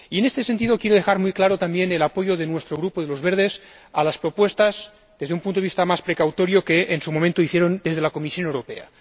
En este sentido, quiero dejar muy claro también el apoyo de nuestro Grupo de los Verdes a las propuestas que, desde un punto de vista más precautorio, en su momento hicieron desde la Comisión Europea.